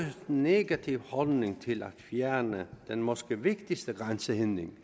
negativ holdning til at fjerne den måske vigtigste grænsehindring